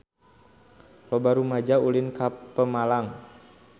Loba rumaja ulin ka Pemalang